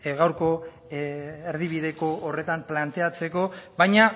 gaurko erdibideko horretan planteatzeko baina